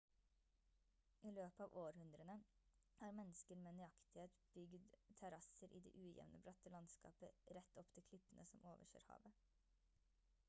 i løpet av århundrene har mennesker med nøyaktighet bygd terrasser i det ujevne bratte landskapet rett opp til klippene som overser havet